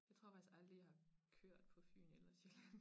Jeg tror faktisk aldrig jeg har kørt på Fyn eller Sjælland